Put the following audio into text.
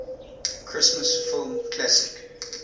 christmas film classic